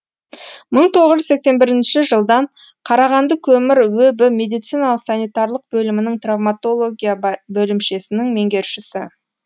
бір мың тоғыз жүз сексен бірінші жылдан қарағанды көмір өб медициналық санитарлық белімінің травмотология бөлімшесінің меңгерушісі